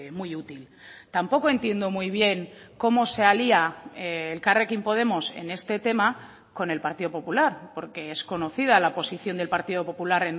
muy útil tampoco entiendo muy bien cómo se alía elkarrekin podemos en este tema con el partido popular porque es conocida la posición del partido popular